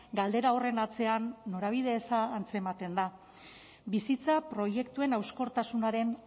galdera horren atzean norabide eza antzematen da bizitza proiektuen hauskortasunaren